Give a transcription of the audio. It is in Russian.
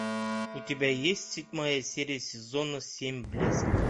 у тебя есть седьмая серия сезона семь блеск